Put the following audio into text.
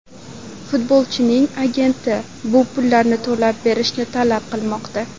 Futbolchining agenti bu pullarni to‘lab berishimizni talab qilmoqda”.